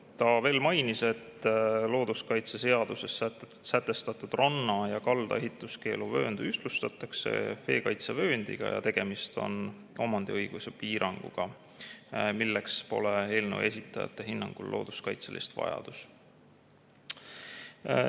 Ta mainis veel, et looduskaitseseaduses sätestatud ranna ja kalda ehituskeeluvöönd ühtlustatakse veekaitsevööndiga ja tegemist on omandiõiguse piiranguga, milleks pole eelnõu esitajate hinnangul looduskaitselist vajadust.